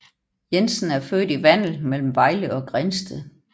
Jensen er født i Vandel mellem Vejle og Grindsted